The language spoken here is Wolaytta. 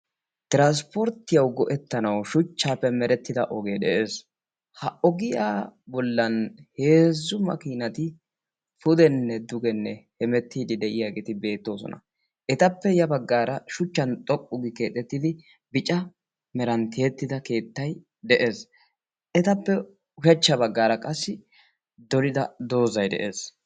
tiranspporttiyau go'ettanau shuchchaappe merettida ogee de'ees. ha ogiyaa bollan heezzu makiinati pudenne dugenne hemettiidi de'iyaageeti beettoosona. etappe ya baggaara shuchchan xoqqugi keexettidi bica meranttihettida keettay de'ees. etappe ushachcha baggaara qassi dorida doozai de'ees.